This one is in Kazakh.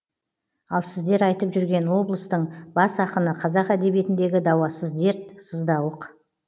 ал сіздер айтып жүрген облыстың бас ақыны қазақ әдебиетіндегі дауасыз дерт сыздауық